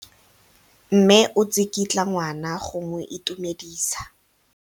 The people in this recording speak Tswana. Mme o tsikitla ngwana go mo itumedisa.